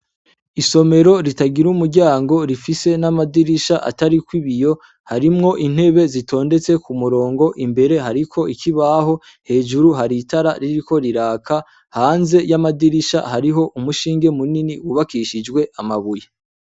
Isomero ritagira umuryango rifise n'amadirisha atariko ibiyo harimwo intebe zitondetse ku murongo imbere hariko ikibaho hejuru haritara ririko riraka hanze y'amadirisha hariho umushinge munini wubakishijwe amabuye.